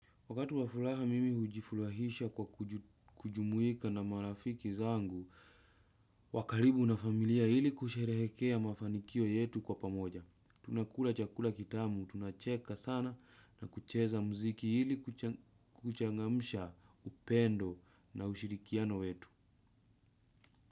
Wakati wavfulaha mimi hujifulahisha kwa kujumuika na marafiki zangu, wa kalibu na familia ili kusherehekea mafanikio yetu kwa pamoja. Tunakula chakula kitamu, tunacheka sana na kucheza mziki ili kuchangamusha upendo na ushirikiano wetu.